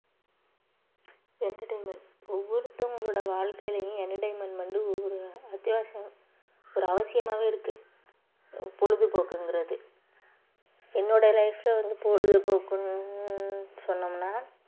entertainment ஒவ்வொருத்தவங்களோட வாழ்க்கையிலயும் entertainment வந்து ஒவ்வொரு அத்தியாவசியம் ஒரு அவசியமாவே இருக்கு ஹம் பொழுதுபோக்குங்கிறது என்னோட life ல வந்து பொழுதுபோக்குன்னு சொன்னோம்ன்னா